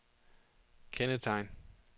kendetegn